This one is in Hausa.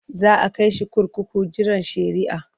Za a kai shi kurkuku jiran shari'ah.